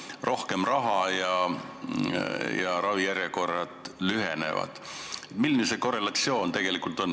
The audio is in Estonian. Kas nii, et rohkem raha ja ravijärjekorrad lühenevad?